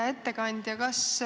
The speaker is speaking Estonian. Hea ettekandja!